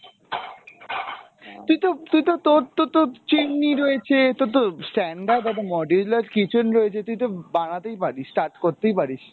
তুই তো তুই তো তোর তো তোর chimney রয়েছে, তোর তো stand up এবং module এর kitchen রয়েছে, তুই তো বানাতেই পারিস, start করতেই পারিস।